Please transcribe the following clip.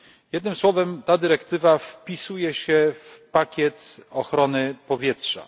Jednym słowem ta dyrektywa wpisuje się w pakiet ochrony powietrza.